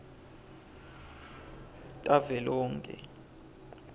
tavelonkhe